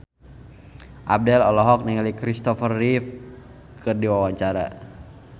Abdel olohok ningali Christopher Reeve keur diwawancara